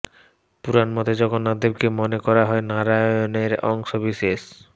পুরাণ মতে জগন্নাথদেবকে মনে করা হয় নারায়ণের অংশ বিশেষ